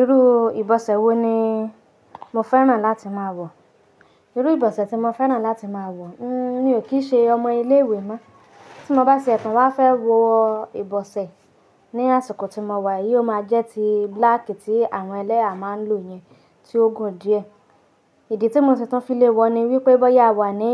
Irú ìbọ̀sẹ̀ wo ni mo fẹ́ràn láti máa wọ̀? Irú ìbọ̀sẹ̀ tí mo fẹ́ràn láti máa wọ̀, n-mí ò kí í ṣe ọmọ ilé ìwé mọ́. Tí mo bá ṣe ẹ̀tàn wá fẹ́ wo ìbọ̀sẹ̀ ní àsìkò tí mo wà, yìí ó máa jẹ́ ti black tí àwọn ẹlẹ́yà máa ń lò yẹn, tí ó gùn díẹ̀. Ìdí tí mo sì tún f'ilé wọ ni wípé bóyá a wà ní